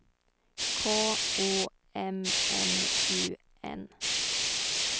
K O M M U N